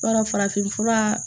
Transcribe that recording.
B'a dɔn farafinfura